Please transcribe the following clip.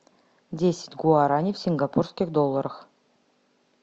десять гуарани в сингапурских долларах